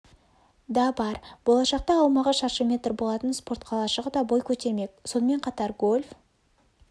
да бар болашақта аумағы шаршы метр болатын спорт қалашығы да бой көтермек сонымен қатар гольф